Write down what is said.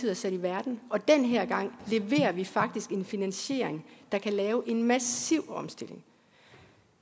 er sat i verden og den her gang leverer vi faktisk en finansiering der kan lave en massiv omstilling